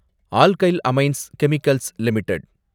alkyl Amines Chemicals limited